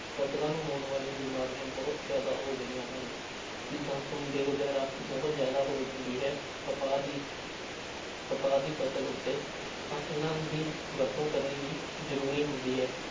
ਫ਼ਸਲਾਂ ਨੂੰ ਹੋਣ ਵਾਲੀ ਬਿਮਾਰੀਆਂ ਬਹੁਤ ਜ਼ਿਆਦਾ ਹੋ ਗਈਆਂ ਹਨ ਜਿੱਦਾਂ ਸੁੰਡੀ ਵਗ਼ੈਰਾ ਬਹੁਤ ਜ਼ਿਆਦਾ ਹੋ ਜਾਂਦੀ ਹੈ ਕਪਾਹ ਦੀ ਕਪਾਹ ਦੀ ਫ਼ਸਲ ਉੱਤੇ ਤਾਂ ਇਹਨਾਂ ਦੀ ਵਰਤੋਂ ਕਰਨੀ ਵੀ ਜ਼ਰੂਰੀ ਹੁੰਦੀ ਹੈ